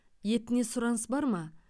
етіне сұраныс бар ма